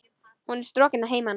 Hún er strokin að heiman.